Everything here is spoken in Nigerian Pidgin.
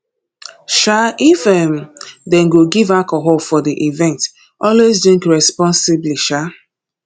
um if um dem go give alcohol for di event always drink responsibly um